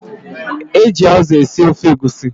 E ji azụ esi ofe egusi